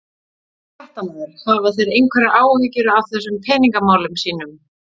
Fréttamaður: Hafa þeir einhverjar áhyggjur af þessum peningamálum sínum?